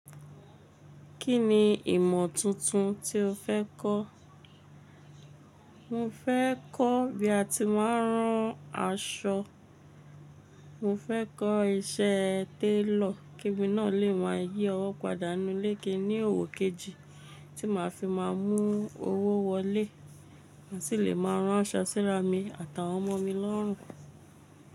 Kí ni ìmọ̀ tuntun tí o fẹ́ kọ́? Mo fẹ́ kọ́ bí a ti máa ń rán aṣọ. Mo fẹ́ kọ́ iṣẹ́ télọ̀ kí emi náà lè maá yí ọwọ́ padà nú lé kin ní òwò kejì tí màá fi máa mú owó wọlé, màa sì lè máa rán aṣọ síra mi àtàwọn ọmọ mi lọ́rùn.